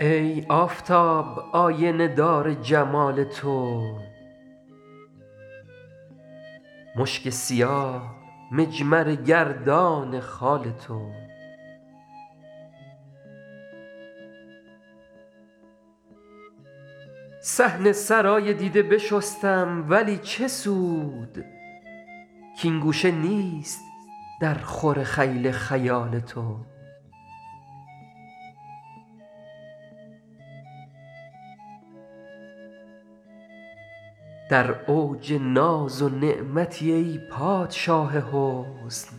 ای آفتاب آینه دار جمال تو مشک سیاه مجمره گردان خال تو صحن سرای دیده بشستم ولی چه سود کـ این گوشه نیست درخور خیل خیال تو در اوج ناز و نعمتی ای پادشاه حسن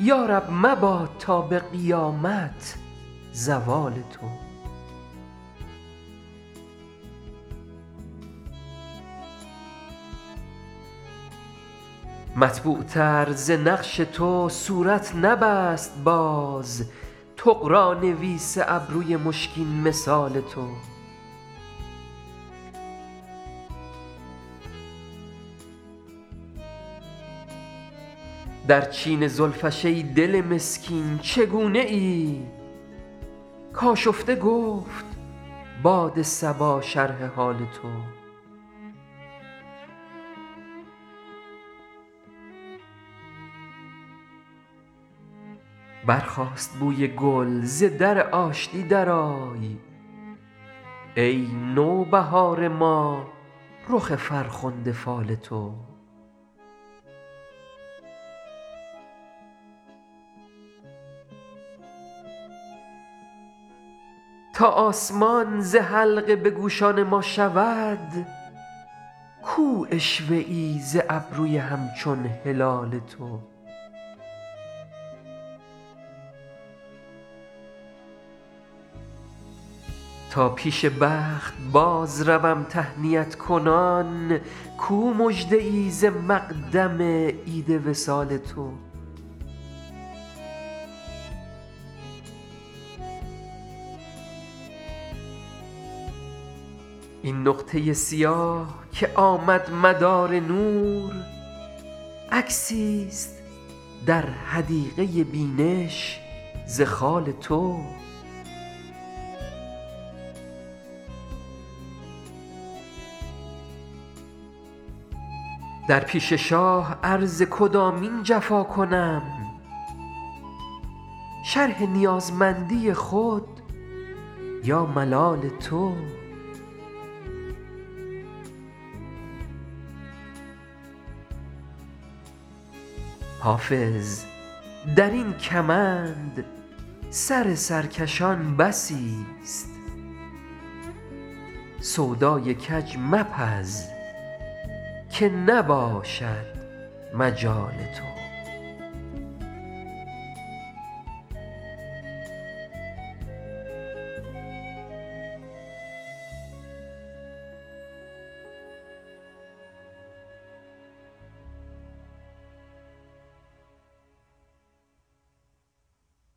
یا رب مباد تا به قیامت زوال تو مطبوعتر ز نقش تو صورت نبست باز طغرانویس ابروی مشکین مثال تو در چین زلفش ای دل مسکین چگونه ای کآشفته گفت باد صبا شرح حال تو برخاست بوی گل ز در آشتی درآی ای نوبهار ما رخ فرخنده فال تو تا آسمان ز حلقه به گوشان ما شود کو عشوه ای ز ابروی همچون هلال تو تا پیش بخت بازروم تهنیت کنان کو مژده ای ز مقدم عید وصال تو این نقطه سیاه که آمد مدار نور عکسیست در حدیقه بینش ز خال تو در پیش شاه عرض کدامین جفا کنم شرح نیازمندی خود یا ملال تو حافظ در این کمند سر سرکشان بسیست سودای کج مپز که نباشد مجال تو